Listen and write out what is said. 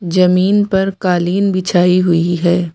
जमीन पर कालीन बिछाइ हुई है।